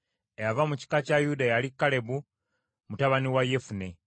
Eyava mu kika kya Yuda yali Kalebu mutabani wa Yefune.